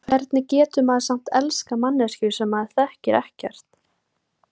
Hvernig getur maður samt elskað manneskju sem maður þekkir ekkert?